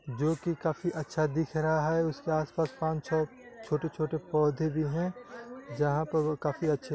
जोकि काफी अच्छा दिख रहा है। उसके आसपास पाँच छः छोटे-छोटे पौधे भी हैं जहाँ पर वो काफी अच्छे --